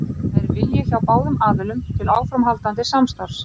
Það er vilji hjá báðum aðilum til áframhaldandi samstarfs.